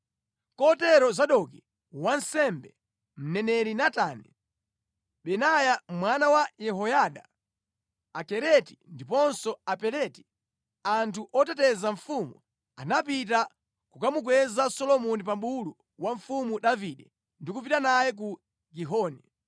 Kotero Zadoki wansembe, mneneri Natani, Benaya mwana wa Yehoyada, Akereti ndiponso Apeleti, anthu oteteza mfumu, anapita kukamukweza Solomoni pa bulu wa Mfumu Davide ndi kupita naye ku Gihoni.